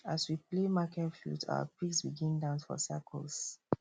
as we play market flute our pigs begin dance for circles